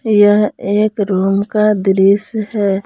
यह एक रूम का दृश्य है।